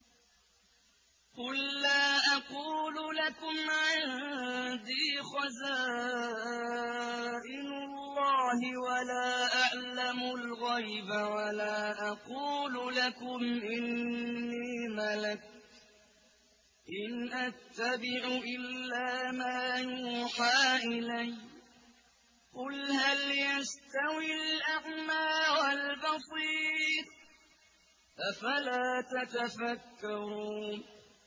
قُل لَّا أَقُولُ لَكُمْ عِندِي خَزَائِنُ اللَّهِ وَلَا أَعْلَمُ الْغَيْبَ وَلَا أَقُولُ لَكُمْ إِنِّي مَلَكٌ ۖ إِنْ أَتَّبِعُ إِلَّا مَا يُوحَىٰ إِلَيَّ ۚ قُلْ هَلْ يَسْتَوِي الْأَعْمَىٰ وَالْبَصِيرُ ۚ أَفَلَا تَتَفَكَّرُونَ